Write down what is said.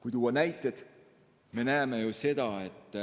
Kui tuua näiteid, siis näeme ju seda, et